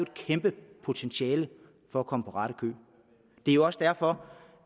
kæmpe potentiale for at komme på ret køl det er også derfor